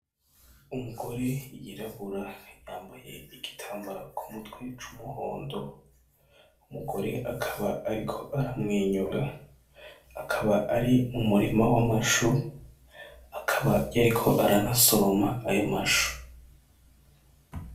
Umugore yirabura yambaye igitambara ku mutwe c'umuhondo, umugore akaba ariko aramwenyura, akaba ari mu murima w'amashu, akaba yariko aranasoroma ayo mashu.